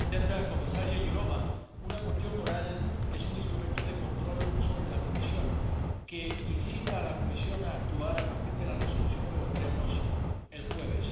Señora presidenta, comisaria Jourová, una pregunta oral es un instrumento de control sobre la Comisión que incita a la Comisión a actuar a partir de la Resolución que votaremos el jueves.